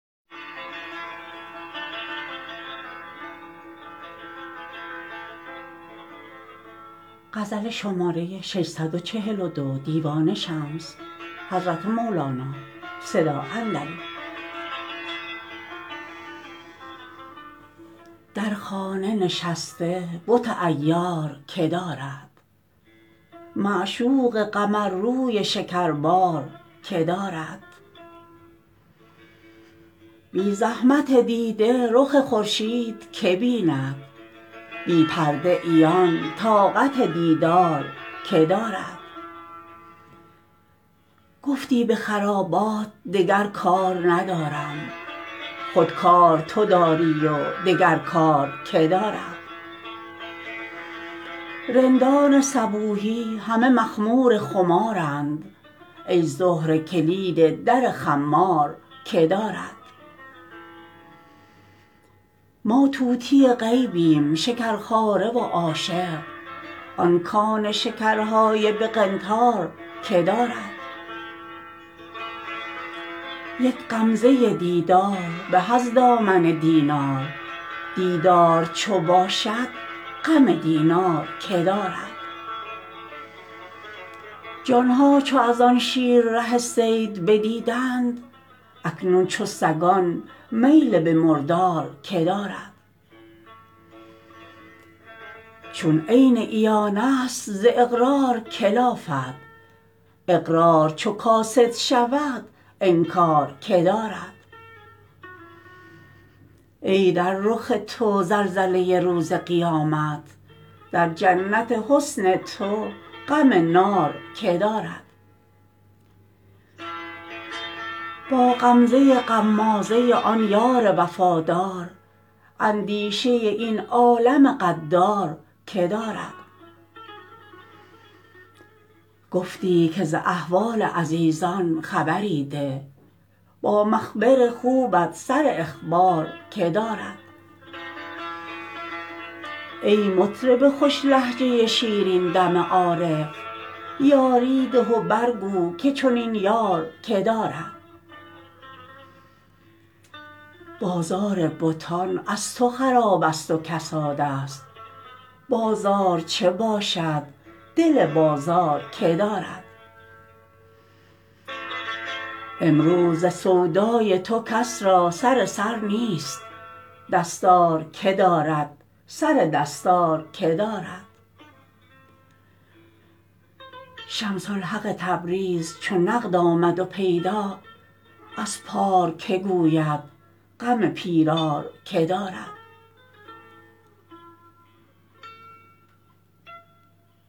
در خانه نشسته بت عیار که دارد معشوق قمرروی شکربار که دارد بی زحمت دیده رخ خورشید که بیند بی پرده عیان طاقت دیدار که دارد گفتی به خرابات دگر کار ندارم خود کار تو داری و دگر کار که دارد رندان صبوحی همه مخمور خمارند ای زهره کلید در خمار که دارد ما طوطی غیبیم شکرخواره و عاشق آن کان شکرهای به قنطار که دارد یک غمزه دیدار به از دامن دینار دیدار چو باشد غم دینار که دارد جان ها چو از آن شیر ره صید بدیدند اکنون چو سگان میل به مردار که دارد چون عین عیانست ز اقرار که لافد اقرار چو کاسد شود انکار که دارد ای در رخ تو زلزله ی روز قیامت در جنت حسن تو غم نار که دارد با غمزه ی غمازه ی آن یار وفادار اندیشه ی این عالم غدار که دارد گفتی که ز احوال عزیزان خبری ده با مخبر خوبت سر اخبار که دارد ای مطرب خوش لهجه شیرین دم عارف یاری ده و برگو که چنین یار که دارد بازار بتان از تو خرابست و کسادست بازار چه باشد دل بازار که دارد امروز ز سودای تو کس را سر سر نیست دستار که دارد سر دستار که دارد شمس الحق تبریز چو نقد آمد و پیدا از پار که گوید غم پیرار که دارد